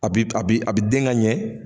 A bɛ a bɛ den kaɲɛ.